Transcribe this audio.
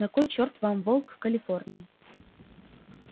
на кой чёрт вам волк в калифорнии